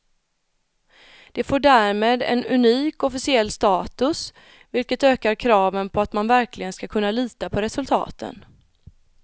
Det får därmed en unik officiell status, vilket ökar kraven på att man verkligen ska kunna lita på resultaten.